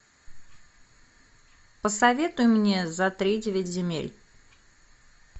посоветуй мне за тридевять земель